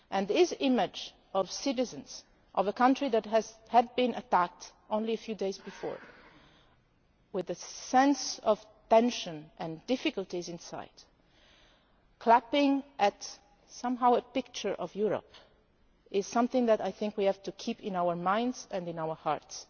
together. This image of the citizens of a country that had been attacked only a few days before, with the sense of tension and difficulties in sight, clapping what was somehow a picture of Europe is something that I think we have to keep in our minds